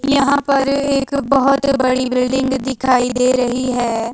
यहां पर एक बहोत बड़ी बिल्डिंग दिखाई दे रही है।